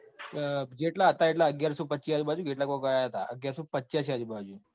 જેટલા હતા એટલા અગિયારસોપચીસ આજુબાજુ કે એટલા કોક અન્ય હતા. અગિયારસોપંચાયસી આજુબાજુ